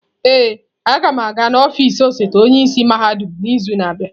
Ee, a ga m aga n'ọfịs osote onye isi mahadum n'izu na-abịa.